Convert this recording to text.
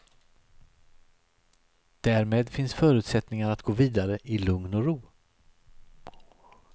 Därmed finns förutsättningar att gå vidare i lugn och ro.